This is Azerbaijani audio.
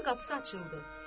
Ev qapısı açıldı.